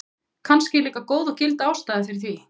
kannski er líka góð og gild ástæða fyrir því